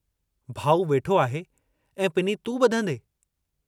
भाऊ वेठो आहे, ऐं पिनी तूं ब॒धंदे।